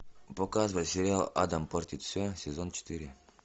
показывай сериал адам портит все сезон четыре